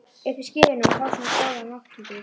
Uppi í skýjunum að fá svona góðar móttökur.